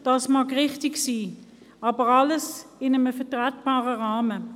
Dies mag richtig sein, aber alles in einem vertretbaren Rahmen.